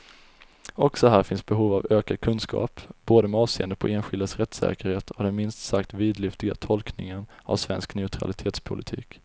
Också här finns behov av ökad kunskap, både med avseende på enskildas rättssäkerhet och den minst sagt vidlyftiga tolkningen av svensk neutralitetspolitik.